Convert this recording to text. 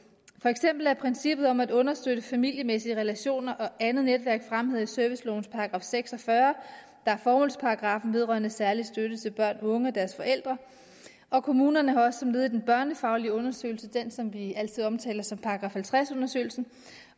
for eksempel er princippet om at understøtte familiemæssige relationer og andet netværk fremhævet i servicelovens § seks og fyrre der er formålsparagraffen vedrørende særlig støtte til børn unge og deres forældre og kommunerne har også som led i den børnefaglige undersøgelse den som vi altid omtaler som § halvtreds undersøgelsen